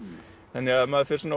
þannig að maður fer